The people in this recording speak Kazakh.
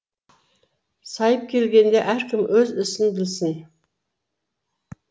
сайып келгенде әркім өз ісін білсін